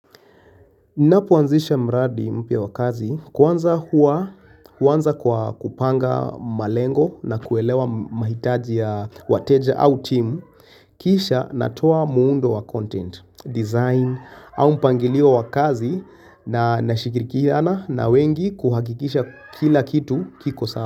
Napoanzisha mradi mpya wakazi kwanza huanza kwa kupanga malengo na kuelewa mahitaji ya wateja au team Kisha natoa muundo wa content, design au mpangilio wa kazi na nashikirikihana na wengi kuhakikisha kila kitu kiko sawa.